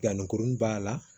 Danni kuruni b'a la